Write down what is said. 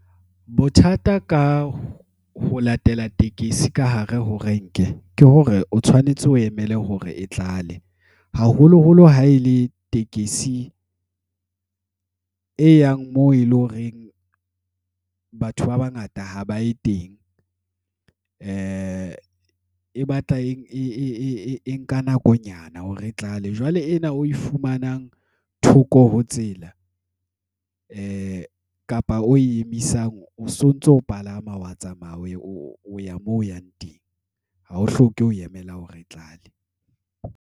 Bothata ka ho latela tekesi ka hare ho renke ke hore o tshwanetse o emele hore e tlale. Haholoholo ha ele tekesi e yang moo ele horeng batho ba bangata ha ba ye teng e batla e nka nakonyana hore tlale. Jwale ena oe fumanang thoko ho tsela kapa o we emisang, o sontso palama, wa tsamaya o ya moo o yang teng. Ha o hloke ho e emela hore e tlale.